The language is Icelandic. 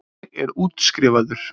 Ég er útskrifaður.